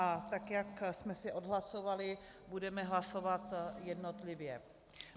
A tak jak jsme si odhlasovali, budeme hlasovat jednotlivě.